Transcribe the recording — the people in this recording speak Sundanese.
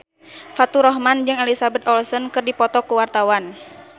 Faturrahman jeung Elizabeth Olsen keur dipoto ku wartawan